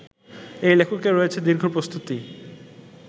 এই লেখকের রয়েছে দীর্ঘ প্রস্তুতি